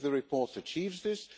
I think the report achieves this.